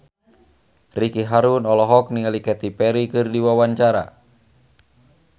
Ricky Harun olohok ningali Katy Perry keur diwawancara